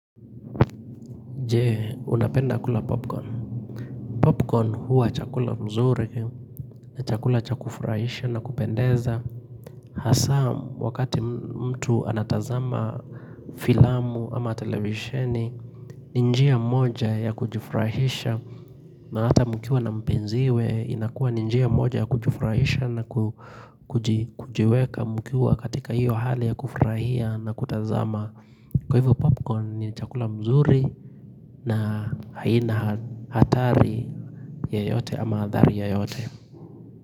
Je, unapenda kula popcorn. Popcorn huwa chakula mzuri, chakula cha kufurahisha na kupendeza. Hasa, wakati mtu anatazama filamu ama televisheni, ni njia moja ya kujifurahisha na hata mkiwa na mpenziwe. Inakua ni njia moja ya kujifurahisha na kujiweka mkiwa katika hiyo hali ya kufurahia na kutazama. Kwa hivyo popcorn ni chakula mzuri na haina hatari yoyote ama adhari yoyote.